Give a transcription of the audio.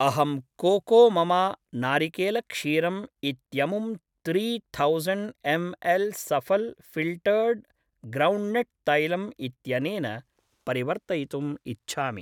अहं कोकोममा नारिकेलक्षीरम् इत्यमुं three thousand M L Safal filtered groundnut तैलम् इत्यनेन परिवर्तयितुम् इच्छामि